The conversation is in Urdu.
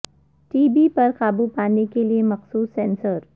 ٹی بی پر قابو پانے کے لیے مخصوص سینسر